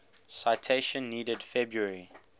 citation needed february